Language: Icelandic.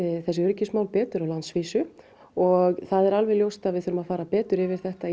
þessi mál betur á landsvísu og það er alveg ljóst að við þurfum að fara betur yfir þetta